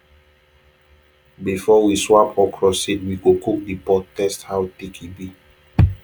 before we swap okra seed we go cook the pod taste how thick e be